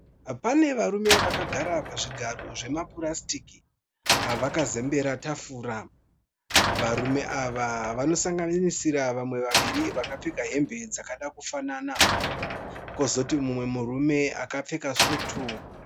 Pane varume vakagara pazvigaro zvemapurasitiki vakazembera tafura. Varume ava vanosanganisira vamwe vaviri vakapfeka hembe dzakada kufanana. Kwozoti mumwe murume akapfeka svutu.